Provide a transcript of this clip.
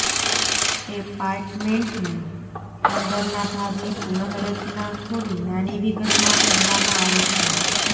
ઍપાર્ટમૅન્ટની અંદરના ભાગની પુનઃરચના થોડી નાની વિગતમાં કરવામાં આવે છે